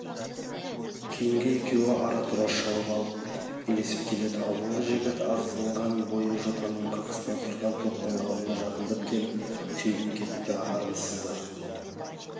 кейінгі екеуі ара-тұра шауып алып ілесіп келеді алдыңғы жігіт ағызған бойы жотаның қырқасында тұрған топтың алдына жақындап келіп сөйлеп кетті армысыздар